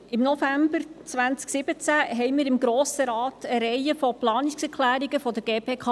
Im November 2017 überwiesen wir im Grossen Rat eine Reihe von Planungserklärungen der GPK.